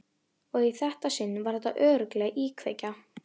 Og í þetta sinn var þetta örugglega íkveikja.